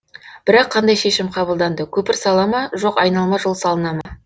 бірақ қандай шешім қабылданды көпір сала ма жоқ айналма жол салына ма